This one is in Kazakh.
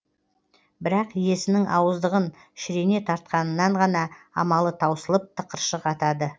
бірақ иесінің ауыздығын шірене тартқанынан ғана амалы таусылып тықыршық атады